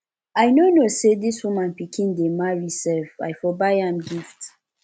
i no know say dis woman pikin dey marry sef i for buy am gift